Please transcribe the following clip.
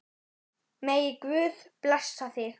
Megi Guð blessa þig.